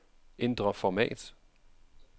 Ændr format.